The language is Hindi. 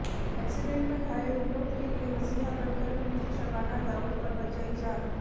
एक्सीडेंट में घायल विनोद के लिए मसीहा बनकर पहुंची शबाना दाऊद और बचायी जान